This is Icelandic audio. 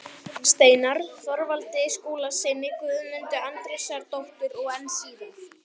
Steinarr, Þorvaldi Skúlasyni, Guðmundu Andrésdóttur og enn síðar